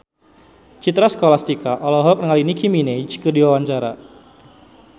Citra Scholastika olohok ningali Nicky Minaj keur diwawancara